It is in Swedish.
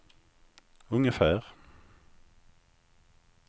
ungefär